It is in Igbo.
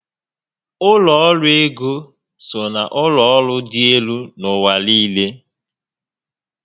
Ụlọ ọrụ ego so na ụlọ ọrụ dị élú n'ụwa niile